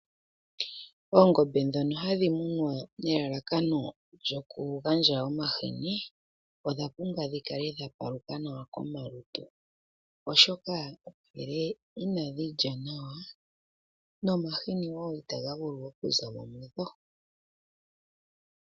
Oongombe ndhono hadhi munwa nelalakano lyoku gandja omahini, odha pumbwa dhi kale dha paluka nawa komalutu, oshoka ngele inadhi lya nawa nomahini wo itaga vulu oku zamo mudho.